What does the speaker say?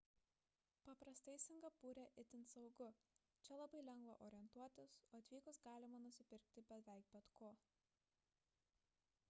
paprastai singapūre itin saugu čia labai lengva orientuotis o atvykus galima nusipirkti beveik bet ko